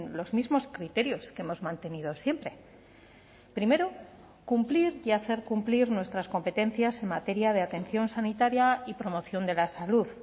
los mismos criterios que hemos mantenido siempre primero cumplir y hacer cumplir nuestras competencias en materia de atención sanitaria y promoción de la salud